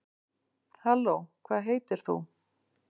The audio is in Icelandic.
halló hvað heitir þú